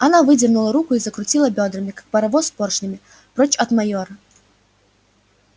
она выдернула руку и закрутила бёдрами как паровоз поршнями прочь от майора